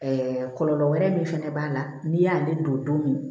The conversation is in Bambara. kɔlɔlɔ wɛrɛ min fɛnɛ b'a la n'i y'ale don don min